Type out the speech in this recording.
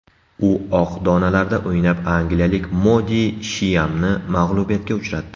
U oq donalarda o‘ynab, angliyalik Modi Shiyamni mag‘lubiyatga uchratdi.